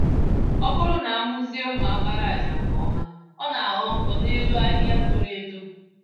Ọbụrụ na amụzie mma àkpàràjà nke ọma, ọ naghọ nkọ n'elu ahịhịa toro-eto